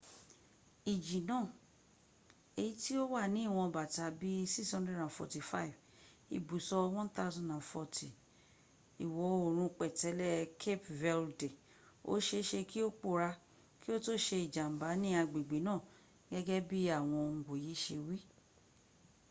iji naa eyi ti o wa ni iwon bata bi 645 ibuso 1040 iwo oorun petele cape verde oseese ki o poora ki o to se ijamba ni agbegbe naa gege bi awon onwoye se wi